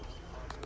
Mənə deyirəm.